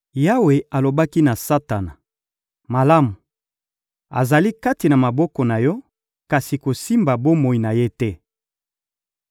Yawe alobaki na Satana: — Malamu! Azali kati na maboko na yo, kasi kosimba bomoi na ye te!